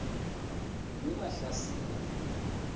yemahlasiya